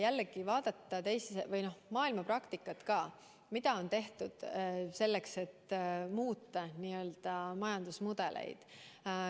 Jällegi, vaadata ka maailmapraktikat, mida on tehtud selleks, et muuta n‑ö majandusmudeleid.